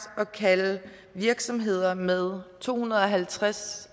at kalde virksomheder med to hundrede og halvtreds